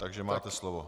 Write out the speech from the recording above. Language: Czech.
Takže máte slovo.